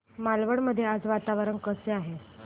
मालवण मध्ये आज वातावरण कसे आहे